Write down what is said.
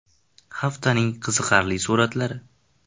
Haftaning qiziqarli suratlari.